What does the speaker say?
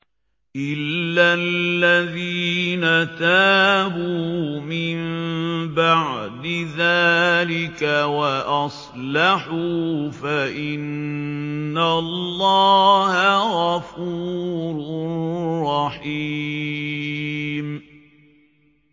إِلَّا الَّذِينَ تَابُوا مِن بَعْدِ ذَٰلِكَ وَأَصْلَحُوا فَإِنَّ اللَّهَ غَفُورٌ رَّحِيمٌ